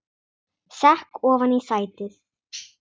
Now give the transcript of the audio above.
Sekk ofan í sætið.